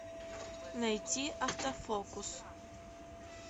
найти автофокус